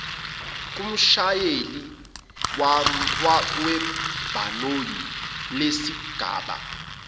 kumshayeli webhanoyi lesigaba